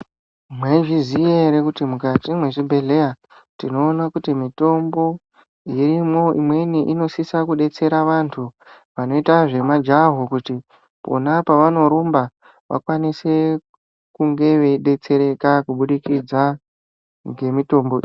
Mwaizviziya ere kuti mukati mwezvibhehlera tinoona kuti mitombo irimwo imweni inosisa kudetsera vantu vanoita zvemajaho kuti pona pavanorumba vakwanise kunge veidetsereka kubudikidza ngemitombo.